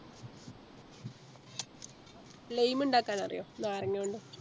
Lime ഇണ്ടാക്കാനറിയോ നാരങ്ങാവെള്ളം